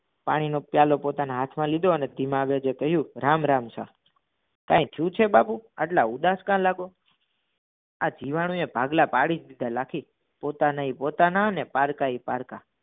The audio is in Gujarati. પાણીનો પ્યાલો પોતાના હાથમાં લીધો અને ધીમા ગજે કહ્યું રામ રામ સા કઈ થયું છે બાપુ? આટલા ઉદાસ કા લાગો આ જીવાણુ બે ભાગલા પાડી દીધા લાખી પોતાના એ પોતાના પારકા એ પારકા